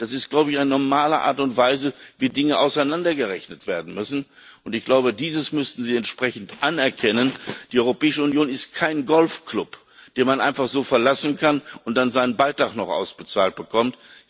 Das ist eine normale Art und Weise, wie Dinge auseinandergerechnet werden müssen, und ich glaube, dieses müssten Sie entsprechend anerkennen. Die Europäische Union ist kein Golfklub, den man einfach so verlassen kann und dann seinen Beitrag noch ausbezahlt bekommt.